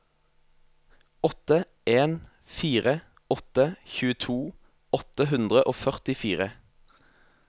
åtte en fire åtte tjueto åtte hundre og førtifire